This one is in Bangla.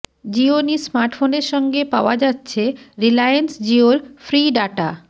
জিওনি স্মার্টফোনের সঙ্গে পাওয়া যাচ্ছে রিলায়েন্স জিওর ফ্রি ডাটা